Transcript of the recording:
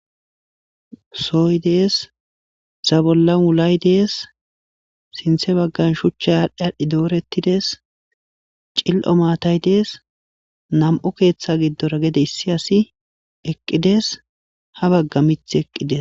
Sooy dees zabolla wulay dees sinthe baggan shucha aadhdhi adhdhi doorettides cil'o maatay dees nam'o keeththa giddora gede issi asi eqqides ha bagga mith eqqides.